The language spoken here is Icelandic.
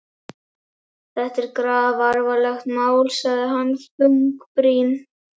Þetta er grafalvarlegt mál sagði hann þungbrýnn.